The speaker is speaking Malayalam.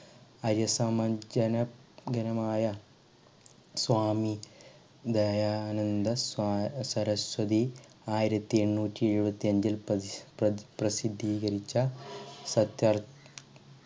അയ്യസ സമഞ്ജന ഗനമായ സ്വാമി ദയാനന്ദ സര സരസ്വതി ആയിരത്തി എണ്ണൂറ്റി എഴുപത്തി അഞ്ചിൽ പ്രതി പ്രസി പ്രസിദ്ധികരിച്ച സത്യാൽ